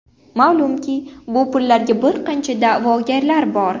Ma’lumki, bu pullarga bir qancha da’vogarlar bor.